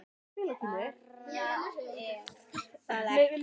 Bara, er það ekki?